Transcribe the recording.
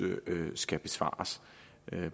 skal besvares